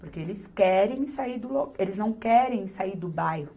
Porque eles querem sair do lo,. eles não querem sair do bairro.